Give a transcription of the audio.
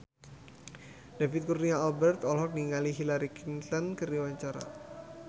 David Kurnia Albert olohok ningali Hillary Clinton keur diwawancara